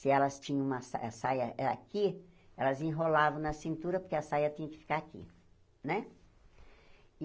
Se elas tinham uma sa a saia era aqui, elas enrolavam na cintura porque a saia tinha que ficar aqui, né?